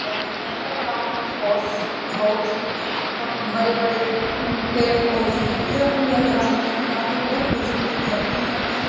ground है यह ground में बोस बहुत ही बम बड़े-बड़े पेड़-पौधे है यह उन ये ग्राउंड के किनारे बहुत बड़ी-बड़ी घर भी है|